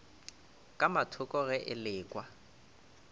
ka mathoko ge e lekwa